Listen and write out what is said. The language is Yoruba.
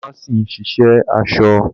Dàmáàsì ń ṣì ṣe aṣọ